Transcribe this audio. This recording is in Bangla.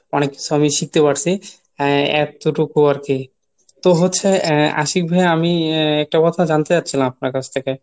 অনেক কিছু আমি শিখতে পারছি এতটুকু আরকি, তো হচ্ছে আহ আশিক ভাইয়া আমি আহ একটা কথা জন্যে চাচ্ছিলাম আপনার কাছ থেকে